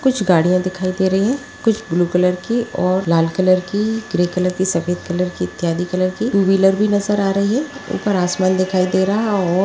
कुछ गाड़ियां दिखाई दे रही है कुछ ब्लू कलर की और लाल कलर की ग्रे कलर की सफेद कलर की इत्यादि कलर की टु व्हीलर भी नज़र आ रहे है ऊपर आसमान दिखाई दे रहा हैं और--